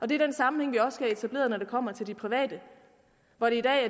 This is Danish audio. det er den sammenhæng vi også skal have etableret når det kommer til de private når